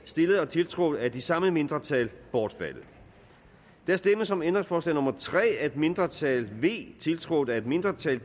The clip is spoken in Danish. stillet og tiltrådt af de samme mindretal bortfaldet der stemmes om ændringsforslag nummer tre af et mindretal tiltrådt af et mindretal